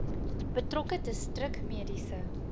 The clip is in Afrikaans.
betrokke distrik mediese